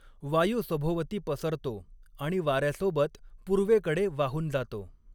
वायू सभोवती पसरतो आणि वाऱ्यासोबत पूर्वेकडे वाहून जातो.